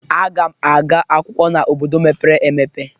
Aga m aga akwụkwọ n'obodo mèpéré èmèpé